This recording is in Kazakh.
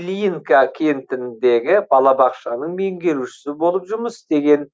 ильинка кентіндегі балабақшаның меңгерушісі болып жұмыс істеген